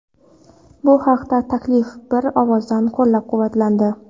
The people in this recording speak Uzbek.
Bu haqdagi taklif bir ovozdan qo‘llab-quvvatlandi.